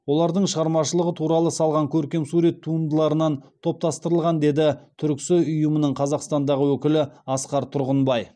олардың шығармашылығы туралы салған көркемсурет туындыларынан топтастырылған деді түрксой ұйымының қазақстандағы өкілі асқар тұрғынбай